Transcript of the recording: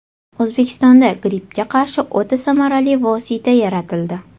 O‘zbekistonda grippga qarshi o‘ta samarali vosita yaratildi.